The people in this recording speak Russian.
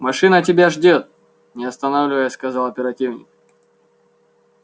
машина тебя ждёт не останавливаясь сказал оперативник